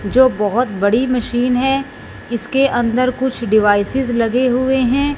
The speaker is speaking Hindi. जो बहोत बड़ी मशीन है इसके अंदर कुछ डिवाइसेस लगे हुए हैं।